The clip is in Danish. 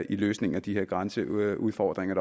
i løsningen af de her grænseudfordringer